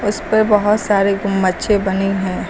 उस पर बहोत सारे गुम्बचे बनी हैं।